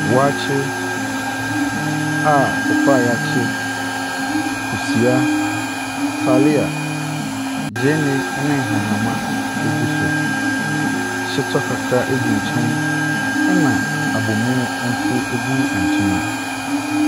Waakye a kɔkɔɔ a wɔakye, kosua, taalia, gyeene ne nhahamma gu so. Shito kakra gu nkyɛn, ɛna abomu nso gu nkyɛn.